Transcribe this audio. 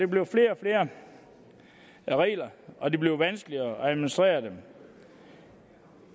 bliver flere og flere regler og det bliver vanskeligere at administrere dem